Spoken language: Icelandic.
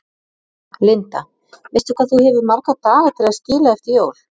Linda: Veistu hvað þú hefur marga daga til að skila eftir jól?